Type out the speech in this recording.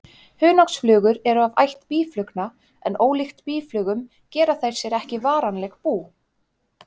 Hunangsflugur eru af ætt býflugna en ólíkt býflugum gera þær sér ekki varanlegt bú.